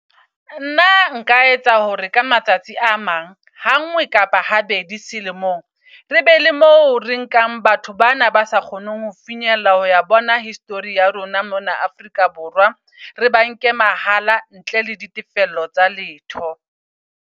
Nna nka etsa hore ka matsatsi a mang ha ngwe kapa ha bedi selemong. Re be le mo re nkang batho bana ba sa kgoneng ho finyella ho ya bona history ya rona mona Afrika Borwa. Re ba nke mahala ntle le ditefello tsa letho.